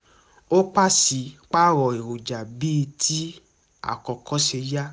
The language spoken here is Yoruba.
ó paṣípààrọ̀ èròjà bíi ti àkókò ṣe yá